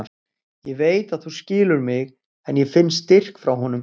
Ég veit að þú skilur mig en ég finn styrk frá honum.